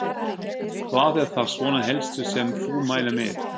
Hvað er það svona helsta sem þú mælir með?